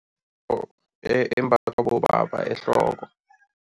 Imbathwa bobaba ehloko.